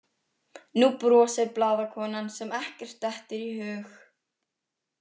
Nú brosir blaðakonan sem ekkert dettur í hug.